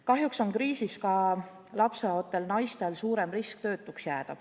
Kahjuks on kriisi ajal ka lapseootel naistel suurem risk töötuks jääda.